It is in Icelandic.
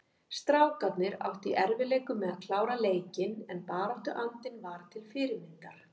Strákarnir áttu í erfiðleikum með að klára leikinn en baráttuandinn var til fyrirmyndar.